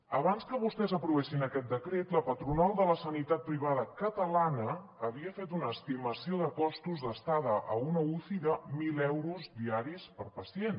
abans que vostès aprovessin aquest decret la patronal de la sanitat privada catalana havia fet una estimació de costos d’estada a una uci de mil euros diaris per pacient